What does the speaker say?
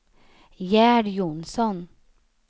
Gerd Jonsson